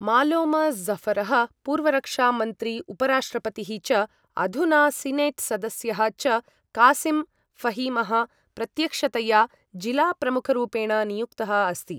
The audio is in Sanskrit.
मालोम जफरः पूर्वरक्षामन्त्री उपराष्ट्रपतिः च अधुना सिनेट् सदस्यः च कासिम फहिमः प्रत्यक्षतया जिलाप्रमुखरूपेण नियुक्तः अस्ति।